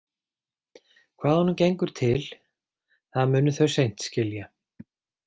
Hvað honum gengur til, það munu þau seint skilja.